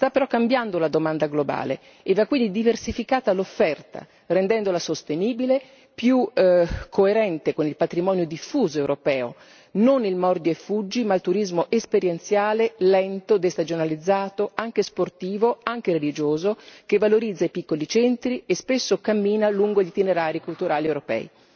Sta però cambiando la domanda globale e va quindi diversificata l'offerta, rendendola sostenibile, più coerente con il patrimonio diffuso europeo non il mordi e fuggi, ma il turismo esperienziale, lento, destagionalizzato, anche sportivo, anche religioso, che valorizza i piccoli centri e spesso cammina lungo gli itinerari culturali europei.